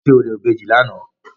Wọ́n ṣe orò ìbejì lánàá.